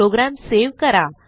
program save करा